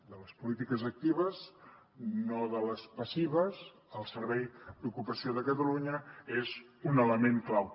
de les polítiques actives no de les passives el servei d’ocupació de catalunya n’és un element clau